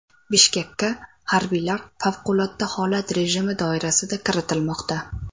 Bishkekka harbiylar favqulodda holat rejimi doirasida kiritilmoqda.